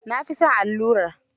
Na fi son allura.